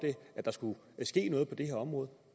at der skulle ske noget på det her område